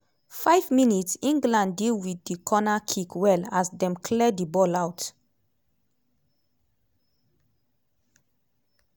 5 mins - england deal wit di corner kick well as dem clear di ball out.